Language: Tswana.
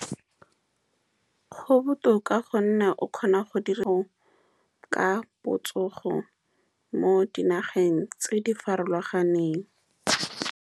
Go botoka ka gonne o kgona go dira ka botsogo, mo dinageng tse di farologaneng.